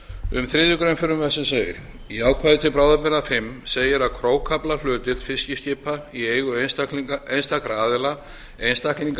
um þriðju greinar frumvarpsins segir í ákvæði til bráðabirgða fimm segir að krókaflahlutdeild fiskiskipa í eigu einstakra aðila einstaklinga